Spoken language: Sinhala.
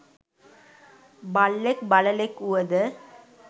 බල්ලෙක්, බළලෙක් වුවද